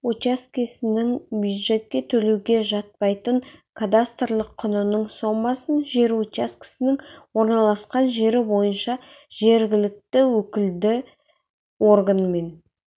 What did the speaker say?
учаскесінің бюджетке төлеуге жатпайтын кадастрлық құнының сомасын жер учаскесінің орналасқан жері бойынша жергілікті өкілді органмен